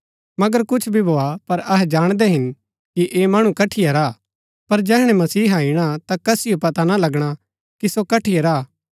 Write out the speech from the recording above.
मगर कुछ भी भोआ पर अहै जाणदै हिन कि ऐह मणु कठीआ रा हा पर जैहणै मसीहा ईणा ता कसिओ पता ना लगणा कि सो कठीआ रा हा